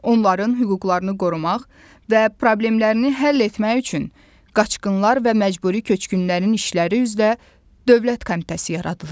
Onların hüquqlarını qorumaq və problemlərini həll etmək üçün Qaçqınlar və Məcburi Köçkünlərin İşləri üzrə Dövlət Komitəsi yaradılıb.